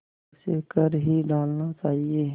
उसे कर ही डालना चाहिए